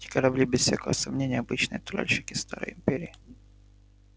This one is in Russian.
эти корабли без всякого сомнения обычные тральщики старой империи